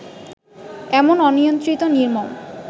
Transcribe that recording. এমন অনিয়ন্ত্রিত নির্মম